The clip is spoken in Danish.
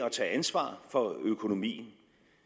at tage ansvar for økonomien